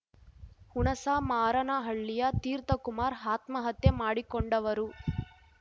ಹುಣಸಮಾರನಹಳ್ಳಿಯ ತೀರ್ಥ ಕುಮಾರ್ ಆತ್ಮಹತ್ಯೆ ಮಾಡಿಕೊಂಡವರು